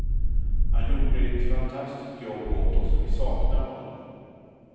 Han gjorde ett fantastiskt jobb åt oss och vi saknar honom.